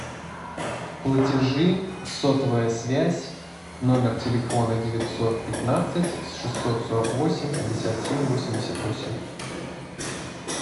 платежи сотовая связь номер телефона девятьсот пятнадцать шестьсот сорок восемь пятьдесят семь восемьдесят восемь